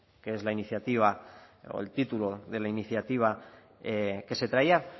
que es la iniciativa o el título de la iniciativa que se traía